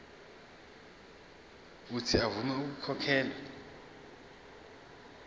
uuthi avume ukukhokhela